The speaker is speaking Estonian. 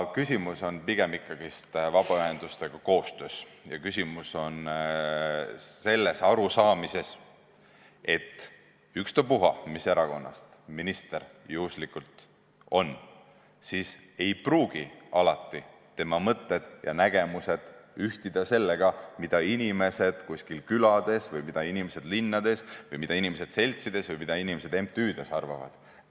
Küsimus on ikkagi pigem vabaühendustega tehtavas koostöös ja arusaamises, et ükstapuha, mis erakonnast minister on, ei pruugi tema mõtted ja nägemused alati ühtida sellega, mida inimesed kusagil külades või inimesed linnades või inimesed seltsides või inimesed MTÜ-des arvavad.